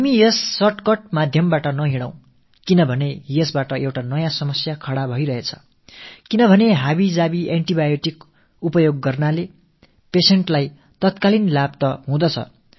மருத்துவர்கள் எழுதிக் கொடுக்காதவரை நாம் அவற்றிலிருந்து நம்மைத் தற்காத்துக் கொள்வோம் நாம் இந்தக் குறுக்குவழியில் பயணிக்காமல் இருப்போம் ஏனென்றால் இதனால் மேலும் புதிய சிக்கல்கள் தான் அதிகரிக்கும்